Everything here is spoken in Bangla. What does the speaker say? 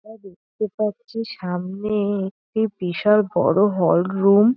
আমরা দেখতে পাচ্ছি সামনে একটি বিশাল বড় হল রুম ।